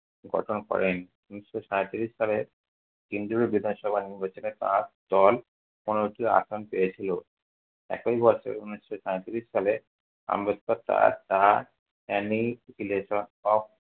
গঠন করেন। ঊনিশশো সাঁইত্রিশ সালে কেন্দ্রীয় বিধানসভা নির্বাচনে তাঁর দল পনেরোটি আসন পেয়ে ছিল। একই বছর উনিশশো সাঁইত্রিশ সালে আম্বেদকর তার তা